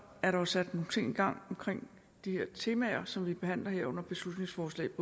er der sat nogle ting i gang omkring de her temaer som vi behandler her i folketingssalen under beslutningsforslagene